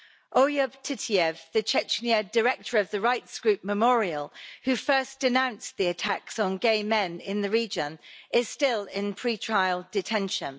Oyub Titiev, the Chechen director of the rights group Memorial, who first denounced the attacks on gay men in the region, is still in pre-trial detention.